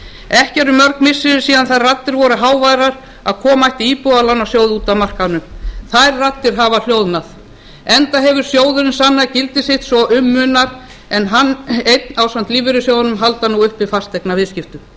ekki eru mörg missiri síðan þær raddir voru háværar að koma ætti íbúðalánasjóði út af markaðnum þær raddir hafa hljóðnað enda hefur sjóðurinn sannað gildi sitt svo um munar en hann einn ásamt lífeyrissjóðunum heldur nú uppi fasteignaviðskiptum